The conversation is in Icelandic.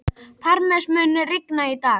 Parmes, mun rigna í dag?